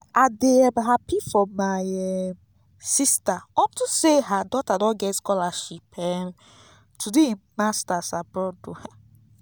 i dey um happy for my um sister unto say her daughter don get scholarship um to do im masters abroad